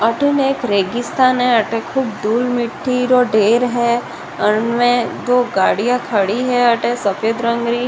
अठे ने एक रेगिस्तान है अठे खूब धूल मिटटी रो ढेर है अणे दो गाड़िया खड़ी है अठे सफ़ेद रंग री।